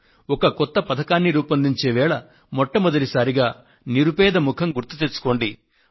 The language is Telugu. ఒక కొత్త పథకాన్ని రూపొందించే వేళ మొట్టమొదటి సారిగా నిరుపేద ముఖం గుర్తు తెచ్చుకోండి